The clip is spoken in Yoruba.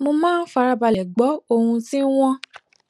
mo máa ń farabalè gbó ohun tí wón